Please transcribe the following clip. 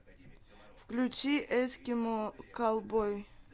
включи эскимо каллбой